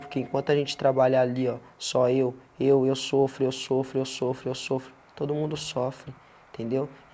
Porque enquanto a gente trabalha ali, ó, só eu, eu, eu sofro, eu sofro, eu sofro, eu sofro, todo mundo sofre, entendeu?